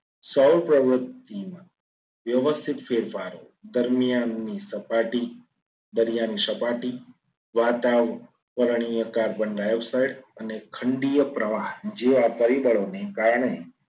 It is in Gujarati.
સૌ પ્રવૃત્તિમાં વ્યવસ્થિત ફેરફારો દરમિયાન ની સપાટી દરિયાની સપાટી વાતાવરણીય કાર્બન ડાયોક્સાઇડ અને ખંડીય પ્રવાહ જે આ પરિબળોને કારણે